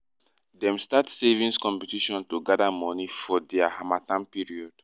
dem start savings competition to gather money for dia harmattan period